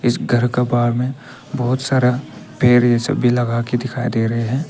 इस घर का बाहर में बहोत सारा पेड़ ये सब भी लगाके दिखाई दे रहे हैं।